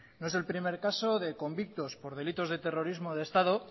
no es el primer caso de convictos por delitos de terrorismo de estado